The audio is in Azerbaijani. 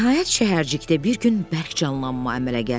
Nəhayət, şəhərcikdə bir gün bərk canlanma əmələ gəldi.